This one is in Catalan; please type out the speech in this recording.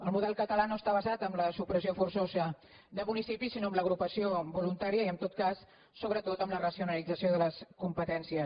el model català no està basat en la supressió forçosa de municipis sinó en l’agrupació voluntària i en tot cas sobretot en la racionalització de les competències